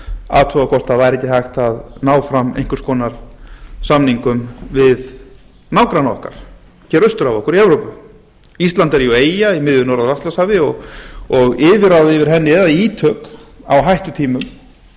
athuga hvort ekki væri hægt að ná fram einhvers konar samningum við nágranna okkar hér austur af okkur í evrópu ísland er jú eyja í miðju norður atlantshafi og yfirráð yfir henni eða ítök á hættutímum